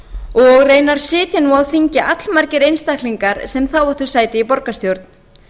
og raunar sitja nú á þingi allmargir einstaklingar sem þá áttu sæti í borgarstjórn